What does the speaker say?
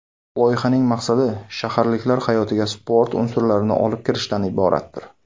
Loyihaning maqsadi shaharliklar hayotiga sport unsurlarini olib kirishdan iboratdir.